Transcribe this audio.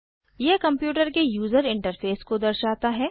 यह कंप्यूटर के user interface को दर्शाता है